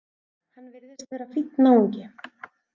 Hann virðist vera fínn náungi!